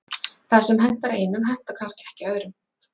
Það sem hentar einum hentar kannski ekki öðrum.